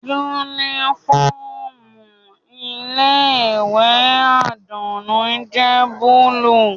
Unifọmú ile-iwe Adunni jẹ buluu.